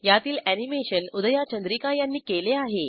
यातील अॅनिमेशन उदया चंद्रिका यांनी केले आहे